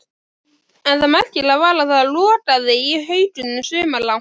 En það merkilega var að það logaði í haugunum sumarlangt.